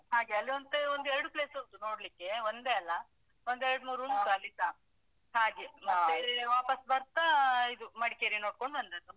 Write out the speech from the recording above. ಹಾಗೆ, ಅಲ್ಲಿಯಂತೂ ಒಂದು ಎರಡು place ಉಂಟು ನೋಡ್ಲಿಕ್ಕೆ ಒಂದೇ ಅಲ್ಲ. ಒಂದೆರಡು ಮೂರು ಉಂಟು ಅಲ್ಲಿಸಾ ಹಾಗೆ ಮತ್ತೆ ವಾಪಾಸ್ ಬರ್ತಾ ಇದು ಮಡಿಕೇರಿ ನೋಡ್ಕೊಂಡು ಬಂದದ್ದು.